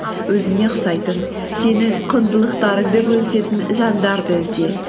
өзіңе ұқсайтын сенің құндылықтарыңды бөлісетін жандарды ізде